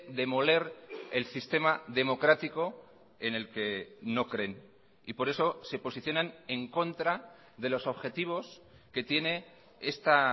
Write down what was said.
demoler el sistema democrático en el que no creen y por eso se posicionan en contra de los objetivos que tiene esta